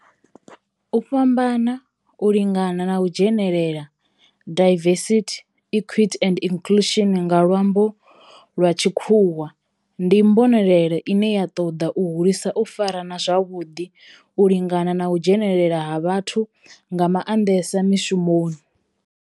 U fhambana, u lingana na u dzhenelela, diversity, equity and inclusion nga lwambo lwa tshikhuwa, ndi mbonelelo ine ya toda u hulisa u farana zwavhudi, u lingana na u dzhenelela ha vhathu nga mandesa mishumoni.